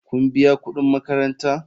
Kun biya kudin makaranta?